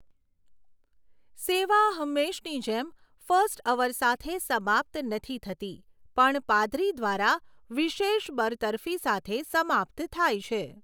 સેવા, હંમેશની જેમ ફર્સ્ટ અવર સાથે સમાપ્ત નથી થતી પણ પાદરી દ્વારા વિશેષ બરતરફી સાથે સમાપ્ત થાય છે.